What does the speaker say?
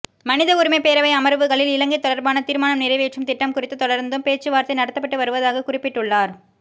மனித உரிமைப் பேரவை அமர்வுகளில் இலங்கை தொடர்பான தீர்மானம்நிறைவேற்றும் திட்டம் குறித்து தொடர்ந்தும் பேச்சுவார்த்தை நடத்தப்பட்டு வருவதாகக் குறிப்பிட்டுள்ளார்